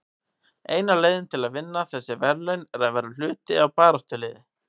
Eina leiðin til að vinna þessi verðlaun er að vera hluti af baráttuliði.